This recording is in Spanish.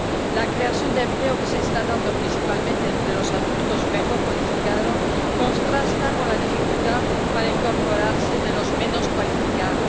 La creación de empleo, que se está dando principalmente entre los adultos mejor cualificados, contrasta con la dificultad para incorporarse de los menos cualificados.